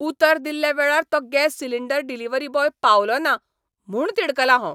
उतर दिल्ल्या वेळार तो गॅस सिलिंडर डिलिव्हरी बॉय पावलो ना म्हूण तिडकलां हांव.